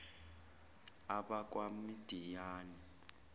abakwamidiyani